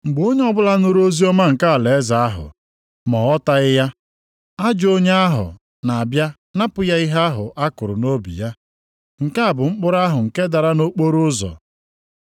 Mgbe onye ọbụla nụrụ oziọma nke alaeze ahụ, ma ọ ghọtaghị ya, ajọ onye ahụ na-abịa napụ ya ihe ahụ akụrụ nʼobi ya. Nke a bụ mkpụrụ ahụ nke dara nʼokporoụzọ.